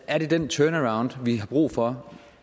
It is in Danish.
er det den turnaround vi har brug for og